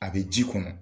A bɛ ji kɔnɔ